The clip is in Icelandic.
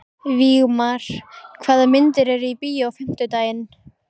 Vígmar, hvaða myndir eru í bíó á fimmtudaginn?